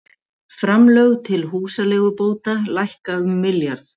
Framlög til húsaleigubóta lækka um milljarð